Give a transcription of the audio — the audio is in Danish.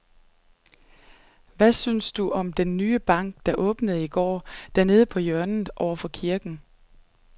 Hvad synes du om den nye bank, der åbnede i går dernede på hjørnet over for kirken?